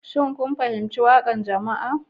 Shin kun fahimci waƙar jama'a